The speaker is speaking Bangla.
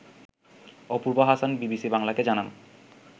অপূর্ব হাসান বিবিসি বাংলাকে জানান